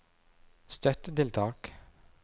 støttetiltak